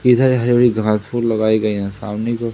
इधर हरी भरी घास फूस लगाई गई हैं सामने की ओर--